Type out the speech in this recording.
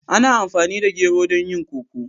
Ana amfani da gero don yin koko.